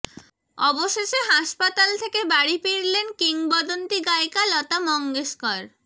অবশেষে হাসপাতাল থেকে বাড়ি ফিরলেন কিংবদন্তী গায়িকা লতা মঙ্গেশকর